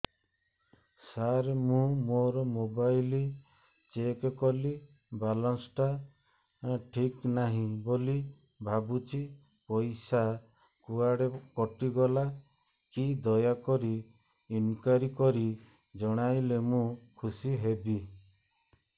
ସାର ମୁଁ ମୋର mobile check କଲି ବାଲାନ୍ସ ଟା ଠିକ ନାହିଁ ବୋଲି ଭାବୁଛି ପଇସା କୁଆଡେ କଟି ଗଲା କି ଦୟାକରି ଇନକ୍ୱାରି କରି ଜଣାଇଲେ ମୁଁ ଖୁସି ହେବି